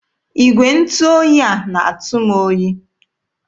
Igwe ntụ oyi a na-atụ m oyi.